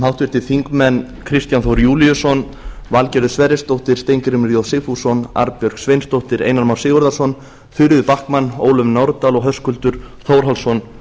háttvirtir þingmenn kristján þór júlíusson valgerður sverrisdóttir steingrímur j sigfússon arnbjörg sveinsdóttir einar már sigurðarson þuríður backman ólöf nordal og höskuldur þórhallsson